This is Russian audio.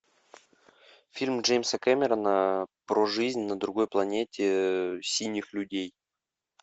фильм джеймса кэмерона про жизнь на другой планете синих людей